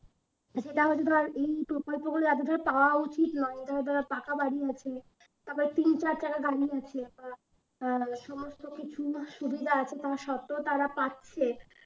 সেটা হচ্ছে ধর এই প্রকল্পগুলো যাদের পাওয়া উচিত নয় পাকা বাড়ি আছে আবার তিন চার চাকা গাড়ি আছে আহ সমস্ত কিছু সুবিধা আছে তার সত্বেও তারা পাচ্ছে